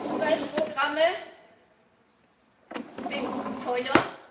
Umweltprogramme sind teuer.